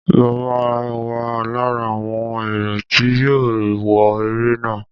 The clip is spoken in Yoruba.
Mo ma wà lára àwọn èrò tí yóò wọ eré náà.